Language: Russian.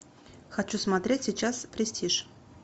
хочу смотреть сейчас престиж